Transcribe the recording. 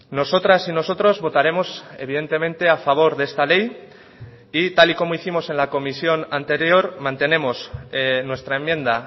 nosotras y nosotros votaremos evidentemente a favor de esta ley y tal y como hicimos en la comisión anterior mantenemos nuestra enmienda